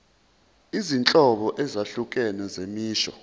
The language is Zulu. izinhlobo ezahlukene zemisho